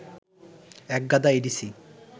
এক গাদা এডিসি